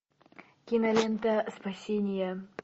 кинолента спасение